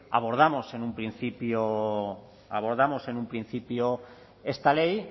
abordamos en un principio esta ley